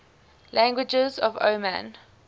languages of oman